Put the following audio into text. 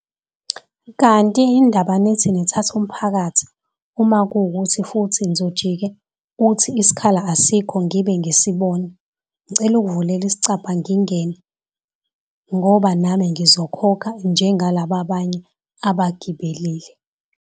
Kanti yindaba nithi nithatha umphakathi uma kuwukuthi futhi nizojike uthi isikhala asikho ngibe ngisibona, ngicela ukuvulela isicabha ngingene ngoba nami ngizokhokha njengalaba banye abagibelile.